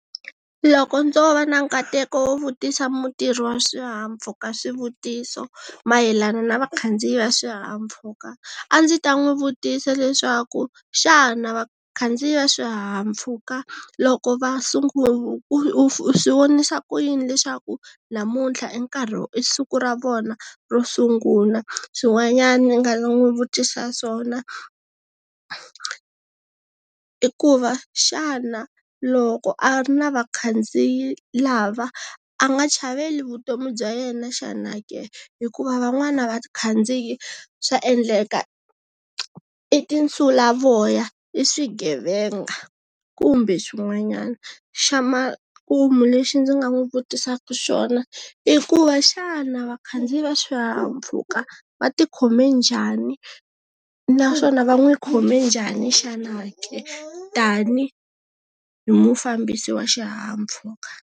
Loko ndzo va na nkateko wo vutisa mutirhi wa swihahampfhuka swivutiso, mayelana na vakhandziyi va swihahampfhuka, a ndzi ta n'wi vutisa leswaku, xana vakhandziyi va swihahampfhuka, loko va u swi vonisa ku yini leswaku, namuntlha i nkarhi i siku ra vona ro sungula? Swin'wanyana ndzi nga ta n'wi vutisa swona, i ku va, xana loko a ri na vakhandziyi lava, a nga chaveli vutomi bya yena xana ke? Hikuva van'wana vakhandziyi, swa endleka i tinsulavoya, i swigevenga kumbe swin'wanyana. Xa makumu lexi ndzi nga n'wi vutisaka xona, i ku va xana vakhandziyi va swihahampfhuka, va ti khome njhani? Naswona va n'wi khome njhani xana ke tanihi mufambisi wa xihahampfhuka?